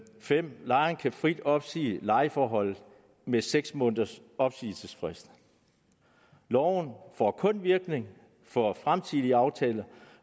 5 lejeren kan frit opsige lejeforholdet med seks måneders opsigelsesfrist loven får kun virkning for fremtidige aftaler